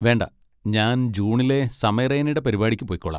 വേണ്ട, ഞാൻ ജൂണിലെ സമയ് റെയ്നടെ പരിപാടിക്ക് പൊയ്ക്കോളാം.